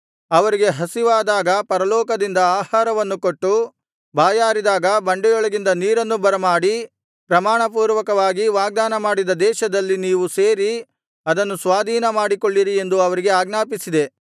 ಅವರಿಗೆ ಹಸಿವಾದಾಗ ಪರಲೋಕದಿಂದ ಆಹಾರವನ್ನು ಕೊಟ್ಟು ಬಾಯಾರಿದಾಗ ಬಂಡೆಯೊಳಗಿಂದ ನೀರನ್ನು ಬರಮಾಡಿ ಪ್ರಮಾಣಪೂರ್ವಕವಾಗಿ ವಾಗ್ದಾನಮಾಡಿದ ದೇಶದಲ್ಲಿ ನೀವು ಸೇರಿ ಅದನ್ನು ಸ್ವಾಧೀನಮಾಡಿಕೊಳ್ಳಿರಿ ಎಂದು ಅವರಿಗೆ ಆಜ್ಞಾಪಿಸಿದೆ